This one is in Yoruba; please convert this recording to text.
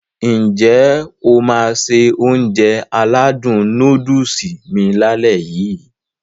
N jẹ́ o máá se Ounjẹ aládùn nóódùsì mi lálẹ́ yii?